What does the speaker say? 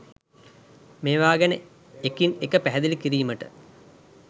මේවා ගැන එකින් එක පැහැදිලි කිරීමට